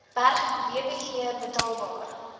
berg wbg betaalbaar